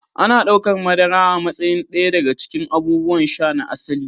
Ana ɗaukar madara a matsayin ɗaya daga cikin abubuwan sha "na asali".